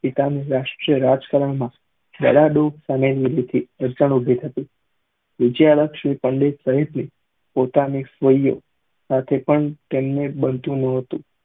પિતા ના રાષ્ટ્રીય રાજ કરવા માં ઉભી થતી વિજયાલક્ષણ પંડિત તરીકે પોતાની સાથે પણ તેમને બનતું ન હતું